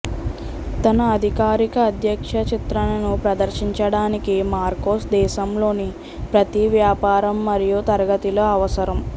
తన అధికారిక అధ్యక్ష చిత్రణను ప్రదర్శించడానికి మార్కోస్ దేశంలోని ప్రతి వ్యాపారం మరియు తరగతిలో అవసరం